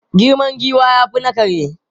Girman giwa ya fi na kare.